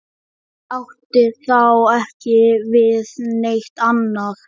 Hann átti þá ekki við neitt annað.